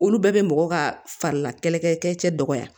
Olu bɛɛ bɛ mɔgɔ ka farila kɛlɛ kɛlɛ cɛ dɔgɔya